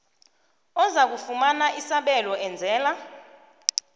ozakufumana isabelo enzela